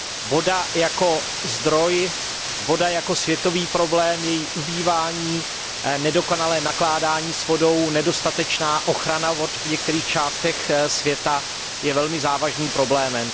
Voda jako zdroj, voda jako světový problém, její ubývání, nedokonalé nakládání s vodou, nedostatečná ochrana vod v některých částech světa je velmi závažným problémem.